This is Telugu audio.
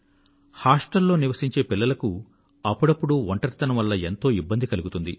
వసతిగృహంలో నివసించే పిల్లలకు అప్పుడప్పుడు ఒంటరితనం వల్ల ఎంతో ఇబ్బంది కలుగుతుంది